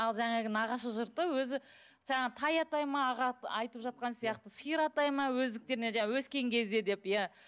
ал жаңағы нағашы жұрты өзі жаңағы тай атай ма аға айтып жатқан сияқты сиыр атай ма өздіктерінен жаңағы өскен кезде деп иә